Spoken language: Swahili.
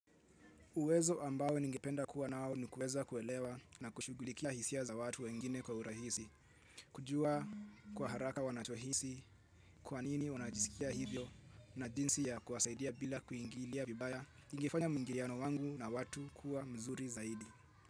Uwezo ambao ningependa kuwa nao ni kueza kuelewa na kushugulikia hisia za watu wengine kwa urahisi, kujua kwa haraka wanachohisi, kwa nini wanajisikia hivyo, na jinsi ya kuwasaidia bila kuingilia vibaya, ingefanya mwingiliano wangu na watu kuwa mzuri zaidi.